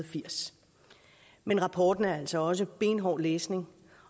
firs men rapporten er altså også benhård læsning